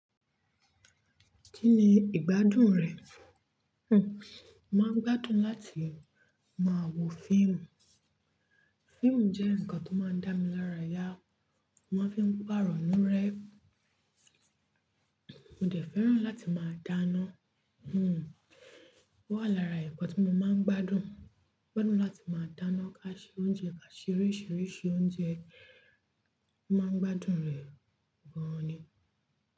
Kín ni ìgbádùn rẹ̀? Hm, máa ń gbádùn láti máa wo fíìmù. Fíìmù jẹ́ nǹkan tó máa ń dá mi lára yá, mo máa ń fi pàrọ̀ nú rẹ́. Mo dẹ̀ fẹ́ràn láti máa dáná, hm, ó wà lára ẹ̀kọ́ tí mo máa ń gbádùn. Mo gbádùn láti máa dáná, ká ṣe oúnjẹ, ká se oríṣìíríṣìí oúnjẹ. Mo máa ń gbádùn rẹ̀ gan ni.